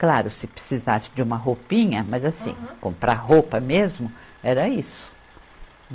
Claro, se precisasse de uma roupinha, mas assim, comprar roupa mesmo, era isso.